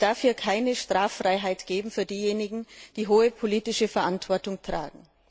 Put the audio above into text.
Es darf hier keine Straffreiheit geben für diejenigen, die hohe politische Verantwortung tragen.